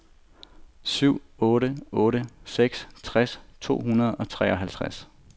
syv otte otte seks tres to hundrede og treoghalvtreds